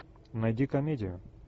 найди комедию